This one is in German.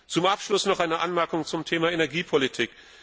Zum Abschluss noch eine Anmerkung zum Thema Energiepolitik.